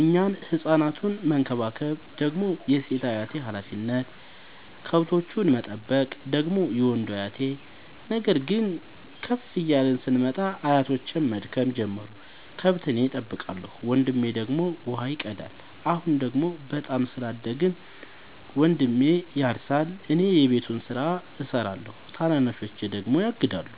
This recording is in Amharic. እኛን ህፃናቱን መከባከብ ደግሞ የሴት አያቴ ሀላፊነት፣ ከብቶቹን መጠበቅ ደግሞ የወንዱ አያቴ። ነገር ግን ከፍ እያልን ስንመጣ አያቶቼም መድከም ጀመሩ ከብት እኔ ጠብቃለሁ። ወንድሜ ደግሞ ውሃ ይቀዳል። አሁን ደግሞ በጣም ስላደግን መንድሜ ያርሳ እኔ የቤቱን ስራ እሰራለሁ ታናናሾቼ ደግሞ ያግዳሉ።